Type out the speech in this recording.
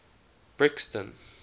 brixton